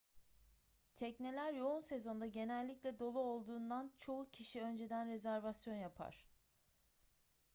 tekneler yoğun sezonda genellikle dolu olduğundan çoğu kişi önceden rezervasyon yapar